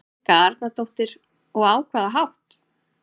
Helga Arnardóttir: Og á hvaða hátt?